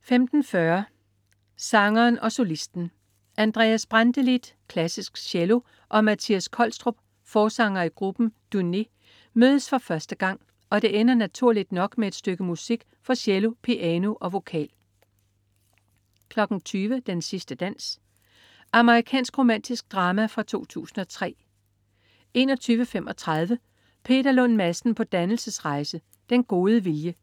15.40 Sangeren og solisten. Andreas Brantelid (klassisk cello), og Matthias Kolstrup (forsanger i gruppen Dunè) mødes for første gang, og det ender naturligt nok med et stykke musik for cello, piano og vocal 20.00 Den sidste dans. Amerikansk romantisk drama fra 2003 21.35 Peter Lund Madsen på dannelsesrejse. Den gode vilje.